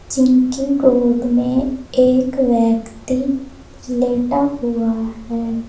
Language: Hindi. जिनके गोद में एक व्यक्ति लेटा हुआ है।